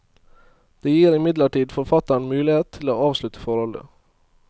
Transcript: Det gir imidlertid forfatteren mulighet til å avslutte forholdet.